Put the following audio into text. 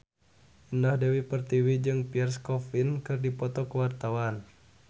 Indah Dewi Pertiwi jeung Pierre Coffin keur dipoto ku wartawan